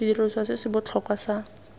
sediriswa se se botlhokwa sa